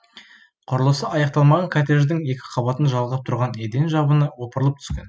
құрылысы аяқталмаған коттедждің екі қабатын жалғап тұрған еден жабыны опырылып түскен